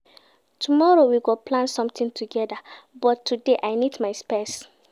Tomorrow, we go plan sometin togeda but today, I need my peace.